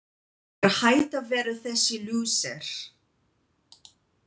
Ég er hætt að vera þessi lúser.